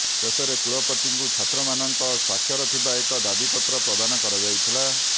ଶେଷରେ କୁଳପତିଙ୍କୁ ଛାତ୍ରମାନଙ୍କ ସ୍ୱାକ୍ଷର ଥିବା ଏକ ଦାବିପତ୍ର ପ୍ରଦାନ କରାଯାଇଥିଲା